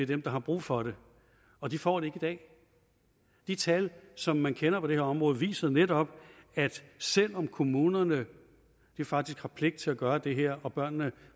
dem der har brug for det og de får det i dag de tal som man kender på det her område viser netop at selv om kommunerne faktisk har pligt til at gøre det her og børnene